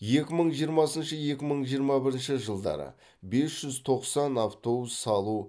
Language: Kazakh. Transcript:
екі мың жиырмасыншы екі мың жиырма бірінші жылдары бес жүз тоқсан автобус салу